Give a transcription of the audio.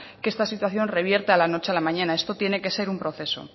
que esta situación revierta de la noche a la mañana esto tiene que ser un proceso